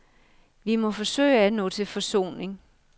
Vi må forsøge at nå til forsoning.